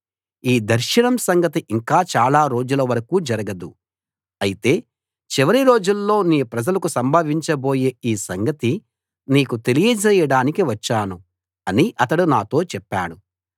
ఈ దర్శనం సంగతి ఇంక చాలా రోజుల వరకూ జరగదు అయితే చివరి రోజుల్లో నీ ప్రజలకు సంభవించబోయే ఈ సంగతి నీకు తెలియజేయడానికి వచ్చాను అని అతడు నాతో చెప్పాడు